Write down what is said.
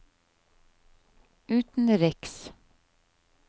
utenriks